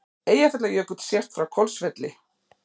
Eyjafjallajökull sést frá Hvolsvelli.